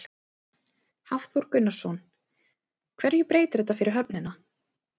Hafþór Gunnarsson: Hverju breytir þetta fyrir höfnina?